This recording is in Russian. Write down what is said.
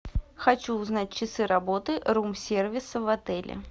хочу узнать часы работы рум сервиса в отеле